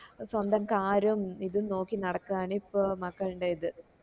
സ്വന്തം car ഉം ഇതും നോക്കി നടക്കാണ് ഇപ്പൊ മകൾൻറെത്